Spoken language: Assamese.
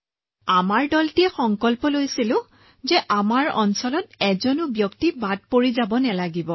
আমি গোটেই দলটোৱে সংকল্প লৈছিলো যে আমি এজনো ব্যক্তিক হেৰুৱাব নালাগে